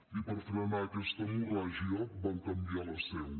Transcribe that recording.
i per frenar aquesta hemorràgia van canviar la seu